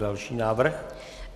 Další návrh.